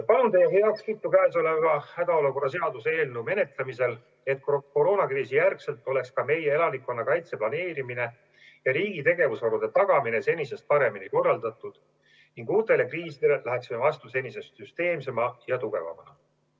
Palun teie heakskiitu hädaolukorra seaduse eelnõu menetlemisel, et pärast koroonakriisi oleks ka meie elanikkonnakaitse planeerimine ja riigi tegevusvaru tagamine senisest paremini korraldatud ning uutele kriisidele läheksime vastu senisest süsteemsema ja tugevamana.